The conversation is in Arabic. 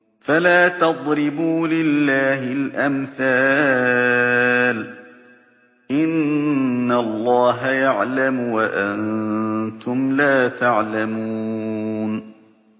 فَلَا تَضْرِبُوا لِلَّهِ الْأَمْثَالَ ۚ إِنَّ اللَّهَ يَعْلَمُ وَأَنتُمْ لَا تَعْلَمُونَ